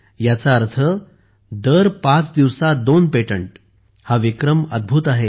याचा अर्थ दर पाच दिवसांत दोन पेटंट हा विक्रम अद्भुत आहे